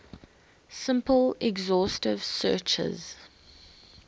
simple exhaustive searches